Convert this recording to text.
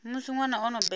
musi ṅwana o no bebwa